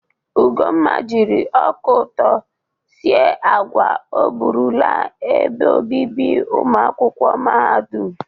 Ugonma jiri ọka ụtọ sie agwa o bụrụ laa ebe obibi ụmụakwụkwọ mahadum.